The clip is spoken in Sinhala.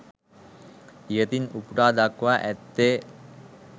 ඉහතින් උපුටා දක්වා ඇත්තේ